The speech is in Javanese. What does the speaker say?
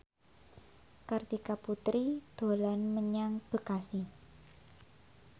Kartika Putri dolan menyang Bekasi